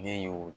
Ne y'o